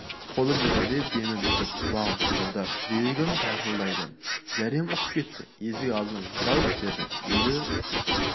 қолым дірілдеп демім бітіп құлағым шыңылдап жүрегім тарсылдайды зәрем ұшып кетті есік алдынан жалт бердім үйді